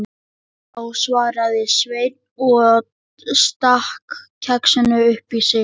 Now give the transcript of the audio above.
Já, svaraði Sveinn og stakk kexinu upp í sig.